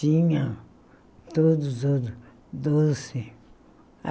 Tinha todos os doces.